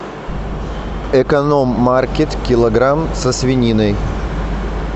эконом маркет килограмм со свининой